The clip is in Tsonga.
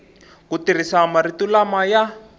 ku tirhisa marito lama ya